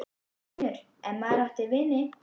. vinur, ef maður átti vini.